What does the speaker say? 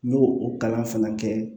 N y'o o kalan fana kɛ